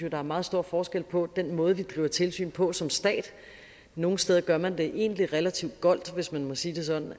at der er meget stor forskel på den måde vi driver tilsyn på som stat nogle steder gør man det egentlig relativt goldt hvis man må sige det sådan